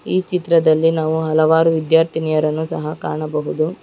ಈ ಚಿತ್ರದಲ್ಲಿ ನಾವು ಹಲವಾರು ವಿದ್ಯಾರ್ಥಿನಿಯರನ್ನು ಸಹ ಕಾಣಬಹುದು.